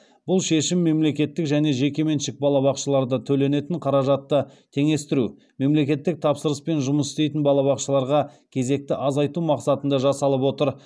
бұл шешім мемлекеттік және жекеменшік балабақшаларда төленетін қаражатты теңестіру мемлекеттік тапсырыспен жұмыс істейтін балабақшаларға кезекті азайту мақсатында жасалып отыр